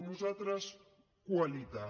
nosaltres qualitat